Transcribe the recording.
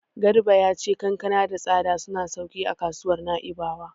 Garba ya ce kankana da tsada suna sauƙin a kasuwar Na'ibawa.